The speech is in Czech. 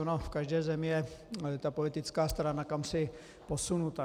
Ona v každé zemi je ta politická strana kamsi posunuta.